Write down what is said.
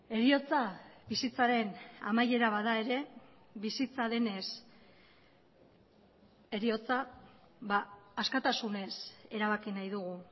heriotza bizitzaren amaiera bada ere bizitza denez heriotza askatasunez erabaki nahi dugu